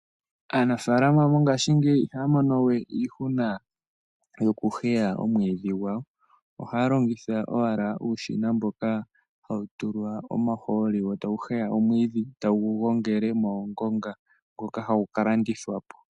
Aanamapya mongashingeyi ihaya mono we iihuna yokuheya omwiidhi. Ohaya longitha uushina mboka hawu tulwa omahooli. Ohawu heya omwiidhi e tawu gongele moongonga, ngoka taya ka landitha po.